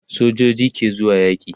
sojoji ke zuwa yaki